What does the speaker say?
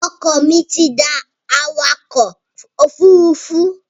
Ọkọ mi tí da awakò ofúrufú